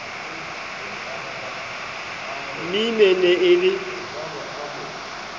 mrm e ne e le